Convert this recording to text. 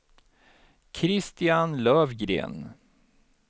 Christian Lövgren